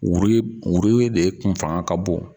de kun fanga ka bon.